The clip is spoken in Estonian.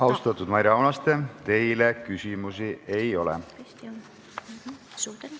Austatud Maire Aunaste, teile küsimusi ei ole.